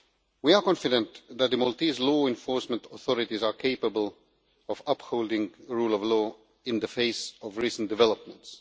We are confident that the Maltese law enforcement authorities are capable of upholding the rule of law in the face of recent developments.